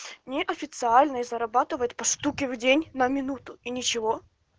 неофициальные зарабатывает по штуке в день на минуту и ничего